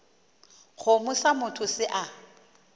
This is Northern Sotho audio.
kgomo sa motho se a